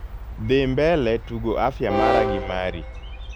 dhi mbele tugo afya mara gi mari